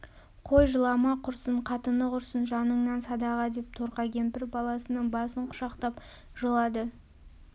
қой жылама құрсын қатыны құрсын жаныңнан садаға деп торқа кемпір баласының басын құшақтап жылады